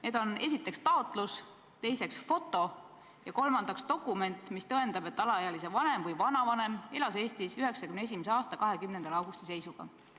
Need on esiteks taotlus, teiseks foto ja kolmandaks dokument, mis tõendab, et alaealise vanem või vanavanem elas Eestis 1991. aasta 20. augusti seisuga.